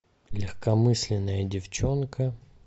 легкомысленная девчонка